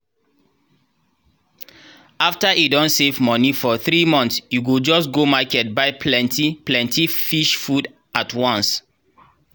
after e don save money for three months e go just go market buy plenty-plenty fish food at once.